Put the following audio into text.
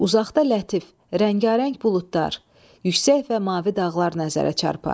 Uzaqda lətif, rəngarəng buludlar, yüksək və mavi dağlar nəzərə çarpar.